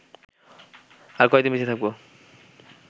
আর কয়দিন বেঁচে থাকব